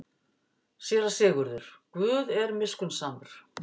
SÉRA SIGURÐUR: Guð er miskunnsamur.